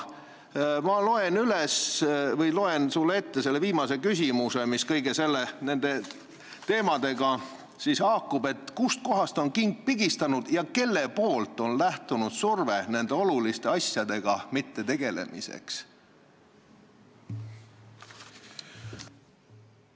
Ma loen sulle ette meie viimase küsimuse, mis kõigi nende teemadega haakub: kust kohast on king pigistanud ja kust on lähtunud surve, et nende oluliste asjadega ei tegeletaks?